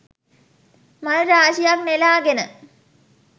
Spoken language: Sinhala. මල් රාශියක් නෙලා ගෙන